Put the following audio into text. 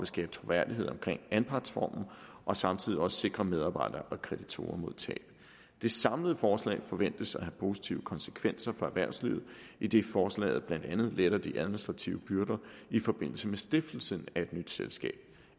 skabe troværdighed om anpartsformen og samtidig også sikre medarbejdere og kreditorer mod tab det samlede forslag forventes at have positive konsekvenser for erhvervslivet idet forslaget blandt andet letter de administrative byrder i forbindelse med stiftelsen af et nyt selskab